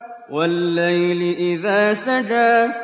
وَاللَّيْلِ إِذَا سَجَىٰ